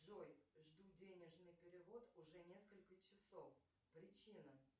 джой жду денежный перевод уже несколько часов причина